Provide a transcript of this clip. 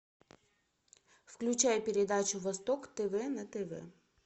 включай передачу восток тв на тв